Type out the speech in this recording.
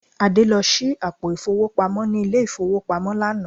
Adé lọ ṣí àpò ìfowópamọ́ ní ilé-ìfowópamọ́ lánàá